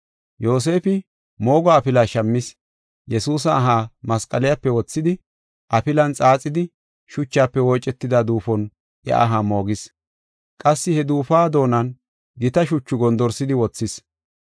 Yoosefi moogo afila shammis; Yesuusa aha masqaliyape wothidi, afilan xaaxidi, shuchafe woocetida duufon iya aha moogis. Qassi he duufuwa doonan gita shuchu gondorsidi wothis.